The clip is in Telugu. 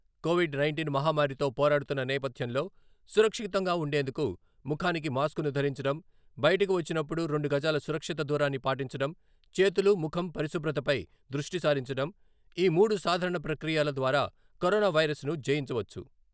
కోవిడ్ నైంటీన్ మహమ్మారితో పోరాడుతున్న నేపథ్యంలో సురక్షితంగా ఉండేందుకు ముఖానికి మాస్కును ధరించడం, బయటకు వచ్చినప్పుడు రెండు గజాల సురక్షిత దూరాన్ని పాటించడం, చేతులు, ముఖం పరిశుభ్రతపై దృష్టి సారించడం...ఈ మూడు సాధారణ ప్రక్రియల ద్వారా కరోనా వైరస్ను జయించవచ్చు.